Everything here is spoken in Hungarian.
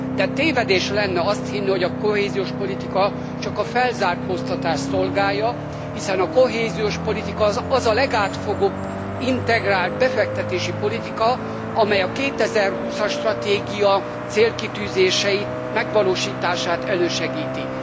De tévedés lenne azt hinni, hogy a kohéziós politika csak a felzárkóztatást szolgálja, hiszen a kohéziós politika az a legátfogóbb integrált befektetési politika, amely a 2020 as stratégia célkitűzései megvalósítását elősegíti.